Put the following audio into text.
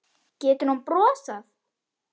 Getur hún brosað?